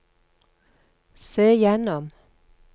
se gjennom